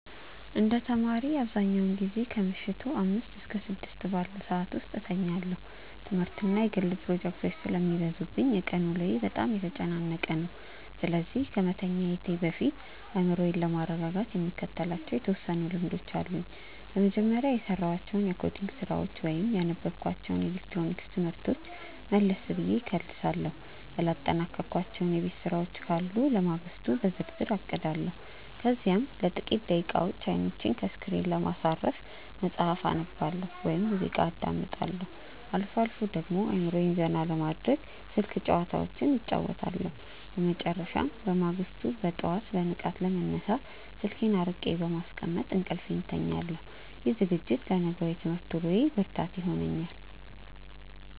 እንደ ተማሪ፣ አብዛኛውን ጊዜ ከምሽቱ አምስት እስከ ስድስት ባለው ሰዓት ውስጥ እተኛለሁ። ትምህርትና የግል ፕሮጀክቶች ስለሚበዙብኝ የቀን ውሎዬ በጣም የተጨናነቀ ነው፤ ስለዚህ ከመተኛቴ በፊት አእምሮዬን ለማረጋጋት የምከተላቸው የተወሰኑ ልምዶች አሉኝ። በመጀመሪያ፣ የሰራኋቸውን የኮዲንግ ስራዎች ወይም ያነበብኳቸውን የኤሌክትሮኒክስ ትምህርቶች መለስ ብዬ እከልሳለሁ። ያላጠናቀቅኳቸው የቤት ስራዎች ካሉ ለማግስቱ በዝርዝር አቅዳለሁ። ከዚያም ለጥቂት ደቂቃዎች አይኖቼን ከስክሪን ለማረፍ መጽሐፍ አነባለሁ ወይም ሙዚቃ አዳምጣለሁ። አልፎ አልፎ ደግሞ አእምሮዬን ዘና ለማድረግ ስልክ ጭዋታዎች እጫወታለሁ። በመጨረሻም፣ በማግስቱ ጠዋት በንቃት ለመነሳት ስልኬን አርቄ በማስቀመጥ እንቅልፌን እተኛለሁ። ይህ ዝግጅት ለነገው የትምህርት ውሎዬ ብርታት ይሆነኛል።